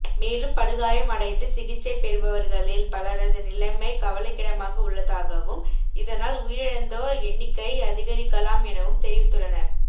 மேலும் படுகாயம் அடைந்து சிகிச்சை பெறுபவர்களில் பலரது நிலைமை கவலைக்கிடமாக உள்ளதாகவும் இதனால் உயிரிழந்தோர் எண்ணிக்கைஅதிகரிக்கலாம் எனவும் தெரிவித்துள்ளனர்